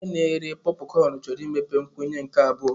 Onye na-ere pọpụcọn chọrọ imepe nkwụnye nke abụọ.